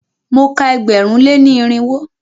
Mo ka ẹgbẹ̀rún lé ní irinwó.